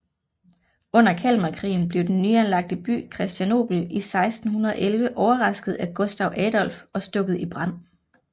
Under Kalmarkrigen blev den nyanlagte by Kristianopel i 1611 overrasket af Gustaf Adolf og stukket i brand